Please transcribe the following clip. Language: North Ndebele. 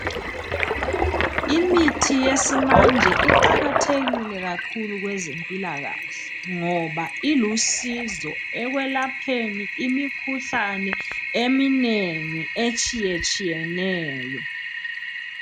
Imithi yesimanje iqakathekile kakhulu kwezempilakahle ngoba ilusizo ekwelapheni imikhuhlane eminengi etshiye tshiyeneyo.